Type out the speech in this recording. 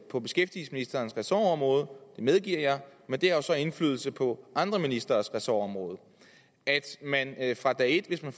på beskæftigelsesministerens ressortområde det medgiver jeg men det har jo så indflydelse på andre ministres ressortområder at man fra dag et hvis man